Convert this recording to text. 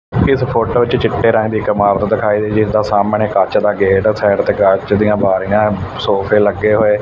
ਇਸ ਫੋਟੋ 'ਚ ਚਿੱਟੇ ਰੰਗ ਦੀ ਇਕ ਇਮਾਰਤ ਦਿਖਾਈ ਗਈ ਐ ਤਾਂ ਸਾਹਮਣੇ ਕੱਚ ਦਾ ਗੇਟ ਐ ਸਾਈਡ ਤੇ ਕੱਚ ਦੀਆਂ ਬਾਰੀਆਂ ਸੋਫੇ ਲੱਗੇ ਹੋਏ--